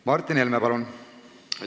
Martin Helme, palun!